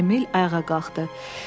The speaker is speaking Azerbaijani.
Emil ayağa qalxdı.